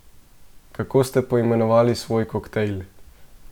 Kako ste poimenovali svoj koktajl?